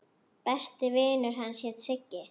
Besti vinur hans hét Siggi.